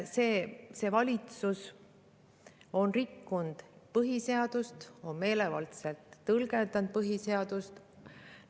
See valitsus on rikkunud põhiseadust, ta on meelevaldselt tõlgendanud põhiseadust.